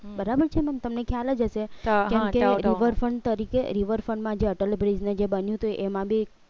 બરાબર છે તમને ખ્યાલ જ હશે અ હા river front તરીકે riverfront માં જે બન્યું હતું અટલ બ્રીજ ને બન્યું તું એ ઈએમાં બી